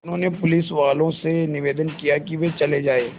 उन्होंने पुलिसवालों से निवेदन किया कि वे चले जाएँ